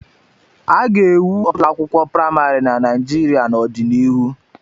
A ga-ewu ọtụtụ ụlọakwụkwọ praịmarị na Naịjirịa n'ọdịnihu.